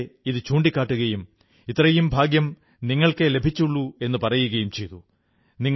ഞാനവരെ ഇതു ചൂണ്ടിക്കാട്ടുകയും ഇത്രയും ഭാഗ്യം നിങ്ങൾക്കേ ലഭിച്ചുള്ളു എന്നു പറയുകയും ചെയ്തു